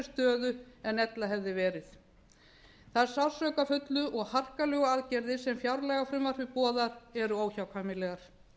stöðu en ella hefði verið þær sársaukafullu og harkalegu aðgerðir sem fjárlagafrumvarpið boðar eru óhjákvæmilegar